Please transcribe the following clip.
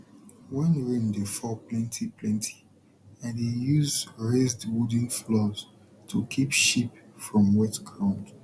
when rain dey fall plenty plenty i dey use raised wooden floors to keep sheep from wetground